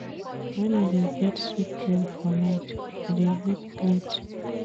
Wen I dey get sweet dream for night, I dey wake late.